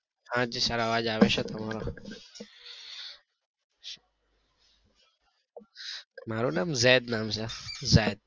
હાજી sir અવાજ આવે છે તમારો મારું નામ ઝેડ નામ છે ઝેડ